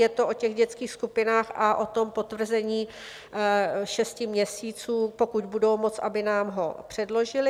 Je to o těch dětských skupinách a o tom potvrzení šesti měsíců, pokud budou moct, aby nám ho předložili.